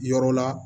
Yɔrɔ la